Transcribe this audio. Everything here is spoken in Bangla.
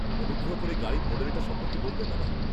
-অনুগ্রহ করে গাড়ির মডেলটা সম্পর্কে বলবেন আমায়।